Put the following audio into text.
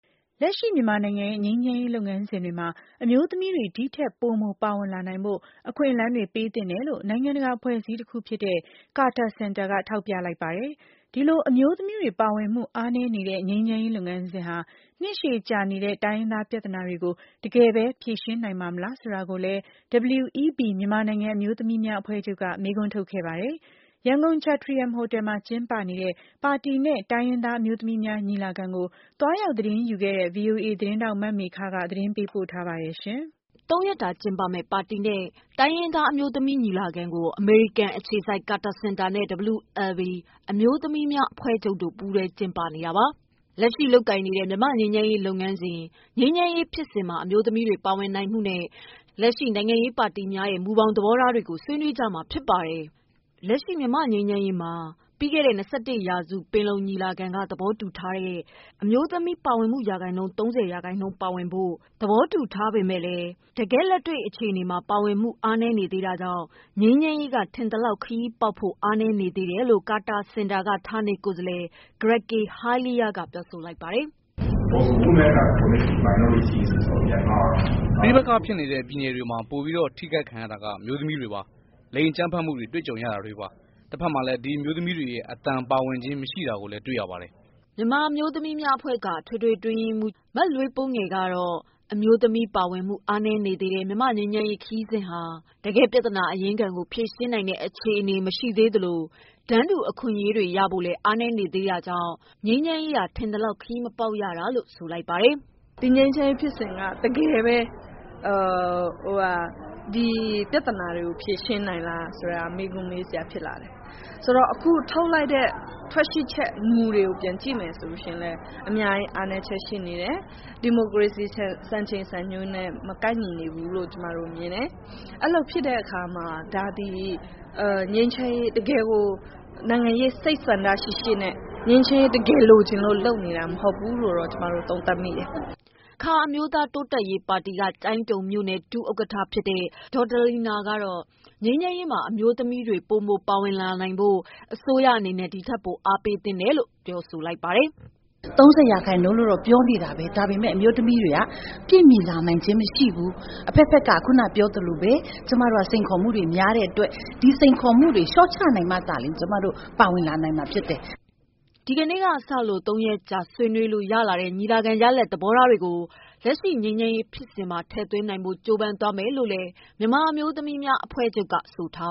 လက်ရှိ မြန်မာနိုင်ငံရဲ့ ငြိမ်းချမ်းရေးလုပ်ငန်းစဉ်တွေမှာ အမျိုးသမီးတွေ ဒီထက် ပိုမိုပါဝင်လာနိုင်ဖို့ အခွင့်အလမ်းတွေ ပေးသင့်တယ်လို့ နိုင်ငံတကာ အဖွဲ့အစည်းတခုဖြစ်တဲ့ Carter Center က ထောက်ပြ လိုက်ပါတယ်။ ဒီလို အမျိုးသမီးတွေ ပါဝင်မှု အားနည်းနေတဲ့ ငြိမ်းချမ်းရေးလုပ်ငန်းစဉ်ဟာ နှစ်ရှည်ကြာနေတဲ့တိုင်းရင်းသားပြဿနာတွေကို တကယ်ပဲ ဖြေရှင်းနိုင် ပါ့မလားဆိုတာကိုလည်း WLB အမျိုးသမီးများအဖွဲ့ချုပ် က မေးခွန်း ထုတ်ခဲ့ပါတယ်။ ရန်ကုန် ချက်ထရီယန်ဟိုတယ်မှာ ကျင်းပနေတဲ့ ပါတီနဲ့ တိုင်းရင်းသားအမျိုးသမီးများညီလာခံကို သွားရောက်သတင်းယူခဲ့တဲ့ ဗွီအိုအေ သတင်းထောက် မမေခ သတင်းပေးပို့ထားပါတယ်။ သုံးရက်တာ ကျင်းပမယ့် ပါတီနဲ့ တိုင်းရင်းသား အမျိုးသမီးညီလာခံကို အမေရိကန်အခြေစိုက် Carter Center နဲ့ WLB အမျိုးသမီးများအဖွဲ့ချုပ် တို့ ပူးတွဲ ကျင်းပနေတာပါ။ လက်ရှိလုပ်ကိုင်နေတဲ့ မြန်မာ့ငြိမ်းချမ်းရေးလုပ်ငန်းစဉ်၊ ငြိမ်းချမ်းရေးဖြစ်စဉ်မှာ အမျိုးသမီးတွေ ပါဝင်နိုင် မှုနဲ့ လက်ရှိနိုင်ငံရေးပါတီများရဲ့မူဘောင်သဘောထား တွေကို ဆွေးနွေးကြမှာဖြစ်ပါတယ်။ လက်ရှိမြန်မာ့ငြိမ်းချမ်းရေးမှာ အမျိုးသမီး ပါဝင်မှု ရာခိုင်နှုန်း ၃၀ ပါဝင်ဖို့ ပြီးခဲ့တဲ့ ၂၁ ရာစုပင်လုံညီလာခံမှာ သဘောတူထားပေမယ့် တ ကယ့်လက်တွေ့အခြေအနေမှာ ပါဝင်မှုအားနည်းနေသေးတာကြောင့် ငြိမ်းချမ်းရေးက ထင်သလောက် ခရီးပေါက်ဖို့ အားနည်းနေတယ်လို့ ကာတာစင်တာက ဌာနေကိုယ်စားလှယ် ဂရက်ကေဟိုင်းလီးယား က ပြောဆိုလိုက်ပါတယ်။ "ပဋိပက္ခဖြစ်နေတဲ့ ပြည်နယ်တွေမှာ ပိုမိုထိခိုက်ခံရတာအမျိုးသမီးတွေပါ။ လိင် အကြမ်းဖက်မှုတွေကြုံ ရတာတွေပေါ့။ တဖက်ထဲမှာလည်း ဒီအမျိုးသမီးတွေ အသံပါဝင်ခြင်း မရှိတာတွေ့ရနေပါတယ်" WLB အမျိုးသမီးများအဖွဲ့ချုပ် က အထွေထွေ အတွင်းရေးမှူး လွေးပိုးငယ် ကတော့ အမျိုးသမီး ပါဝင်မှုအားနည်းနေသေးတဲ့ မြန်မာ့ငြိမ်းချမ်းရေးခရီးစဉ်ဟာ တကယ့်ပြဿနာအရင်းခံကို ဖြေရှင်းနိုင်တဲ့ အခြေအနေမရှိသေးသလို တန်းတူအခွင့်အရေးတွေ ရဖို့ အားနည်းနေသေးတာကြောင့် ငြိမ်းချမ်းရေး ကထင်သလောက် ခရီးမရောက်တာလို့ဆိုလိုက်ပါတယ်။ "ငြိမ်းချမ်းရေးခရီးစဉ်က တကယ်ဘဲပြဿနာတွေဖြေရှင်းနိုင်လားမေးခွန်းတွေရှိတယ်။ ထွက်ရှိလာတဲ့ မူတွေကိုကြည့်ရင် အများကြီးအားနည်းချက်တွေရှိနေသေးတယ်။ ဒီမိုကရေစီစံချိန်စံနှုန်းတွေနဲ့မကိုက် ညီနေဘူး။ ဒီတော့ခုအခြေအနေ ကနိုင်ငံရေး စိတ်ဆန္ဒတခုနဲ့ သေချာစွာငြိမ်းချမ်းလိုလို့ လုပ်နေတာမ ဟုတ်ဘူးလို့ သုံးသပ်မိပါတယ်" အခါအမျိုးသားတိုးတက်ရေးပါတီက ကျိုင်းတုံမြို့နယ်ဒုဥက္ကဌဖြစ်တဲ့ ဒေါ်ဒလီနာ ကတော့ ငြိမ်းချမ်းရေး မှာ အမျိုးသမီးတွေပိုမိုပါဝင်လာနိုင်ဖို့ အစိုးရအနေနဲ့ ဒီထပ်ပိုအားပေးဖို့ တောင်းဆိုလိုက်ပါတယ်။ "တန်းတူရေးပြောကြတယ်။ ၃၀ရာခိုင်နှုန်းပါဖို့ပြောကြတယ်။ တကယ်တမ်းကမပါဝင်လာနိုင်ဘူး။ ဒီတော့ ကျမတို့မှာစိန်ခေါ်မှုတွေများနေတယ်။ ဒီတော့ အစိုးရအနေနဲ့ ဒီစိန်ခေါ်မှုတွေလျော့နိုင် အောင် အမျိုးသမီးတွေဒီထပ်ပိုပါနိူင်အောင်စည်းရုံးလှုံဆော်ပေးဖို့လိုအပ်ပါတယ်" ဒီကနေ့ စ သုံးရက်ကြာ ဆွေးနွေးလို့ရလာတဲ့ ညီလာခံရလဒ်သဘောထားတွေကို လက်ရှိငြိမ်းချမ်းရေးဖြစ်စဉ်မှာထည့်သွင်းနိုင်ဖို့ ကြိုးစားသွားမယ်လို့ WLB အမျိုးသမီးများအဖွဲ့ချုပ် က ဆိုပါ